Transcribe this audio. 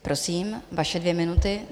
Prosím, vaše dvě minuty.